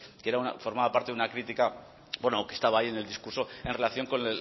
que formaba parte de una crítica bueno que estaba ahí en el discurso en relación con